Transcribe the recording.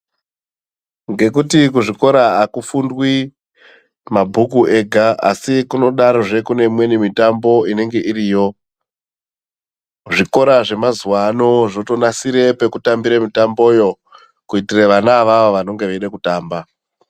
Ngekuti kuzvikora akufundwi mabhuku ega asi kunodarozve kune imweni mitambo inenge iriyo zvikora zvemazuvaano zvotonasira pekutambira mitamboyo kuitire vana avavo vanenge veida kutamba.